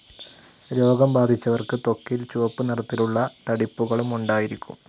രോഗം ബാധിച്ചവർക്ക് ത്വക്കിൽ ചുവപ്പുനിറത്തിലുള്ള തടിപ്പുകളും ഉണ്ടായിരിക്കും.